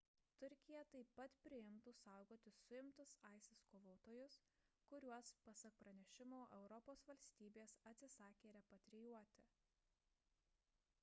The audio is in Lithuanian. turkija taip pat priimtų saugoti suimtus isis kovotojus kuriuos pasak pranešimo europos valstybės atsisakė repatrijuoti